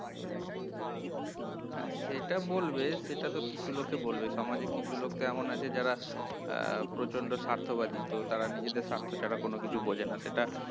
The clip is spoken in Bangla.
হ্যাঁ সেটা বলবে, সেটা তো কিছু লোকে বলবেই সমাজে কিছু লোকতো এমন আছে যারা আহ প্রচন্ড স্বার্থবাদী তো তারা নিজেদের স্বার্থ ছাড়া কিছু বোঝেনা সেটা